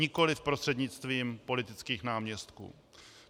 Nikoliv prostřednictvím politických náměstků.